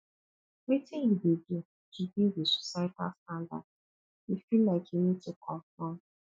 wetin you dey do to deal with societal standards you feel like you need to conform